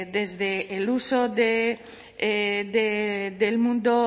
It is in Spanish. desde el uso del mundo